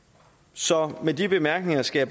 så med de bemærkninger skal